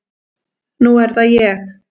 Nú er það ég.